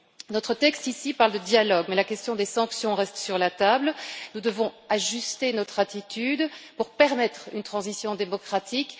Notre texte parle de dialogue, mais la question des sanctions reste sur la table, nous devons ajuster notre attitude pour permettre une transition démocratique.